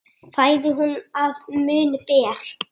Fæðu hún að munni ber.